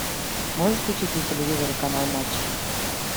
можешь включить на телевизоре канал матч